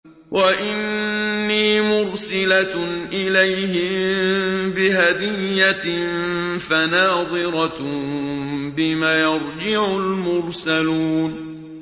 وَإِنِّي مُرْسِلَةٌ إِلَيْهِم بِهَدِيَّةٍ فَنَاظِرَةٌ بِمَ يَرْجِعُ الْمُرْسَلُونَ